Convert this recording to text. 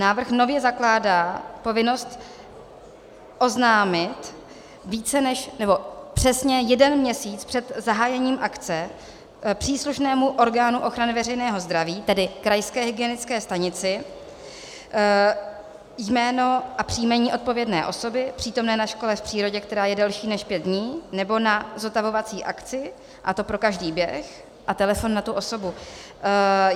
Návrh nově zakládá povinnost oznámit přesně jeden měsíc před zahájením akce příslušnému orgánu ochrany veřejného zdraví, tedy krajské hygienické stanici, jméno a příjmení odpovědné osoby přítomné na škole v přírodě, která je delší než pět dní, nebo na zotavovací akci, a to pro každý běh, a telefon na tu osobu.